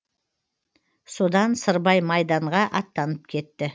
содан сырбай майданға аттанып кетті